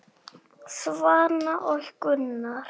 Svana og Gunnar.